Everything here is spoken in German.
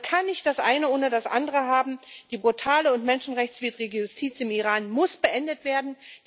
Man kann nicht das Eine ohne das Andere haben. Die brutale und menschenrechtswidrige Justiz im Iran muss beendet werden.